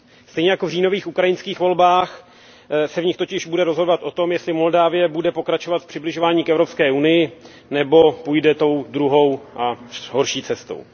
Stejně jako v říjnových ukrajinských volbách se v nich totiž bude rozhodovat o tom, jestli Moldavsko bude pokračovat v přibližování k EU nebo půjde tou druhou a horší cestou.